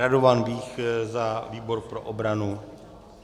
Radovan Vích za výbor pro obranu?